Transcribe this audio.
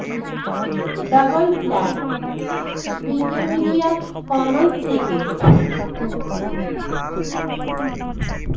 double flat Wikimedia Commons থেকে দিল্লস ছবির সৌজন্যে ছবি